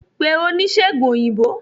pè onisegùn oyinbo!